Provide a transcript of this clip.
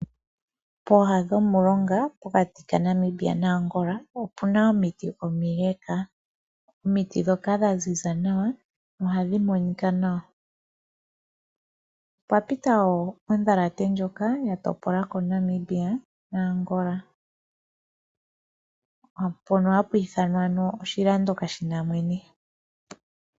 Pooha dhomulonga pokati kaNamibia naAngola opu na omiiti omile. Omiiti dhoka dha ziza nawa ohadhi monika nawa. Opwa pita wo odhalate ndjoka ya topola ko Namibia naAngola. Mpono hapu ithanwa ano oshilando kaashina mwene.